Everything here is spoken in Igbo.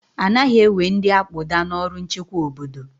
Anaghị ewe ndị akpụda n'ọrụ nchekwa obodo